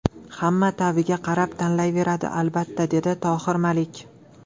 Hamma ta’biga qarab tanlayveradi, albatta”, dedi Tohir Malik.